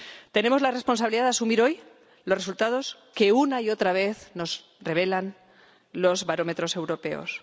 Tenemos la responsabilidad de asumir hoy los resultados que, una y otra vez, nos revelan los barómetros europeos.